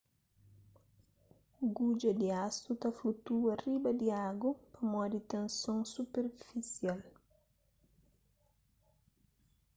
gudja di asu ta flutua riba di agu pamodi tenson superfisial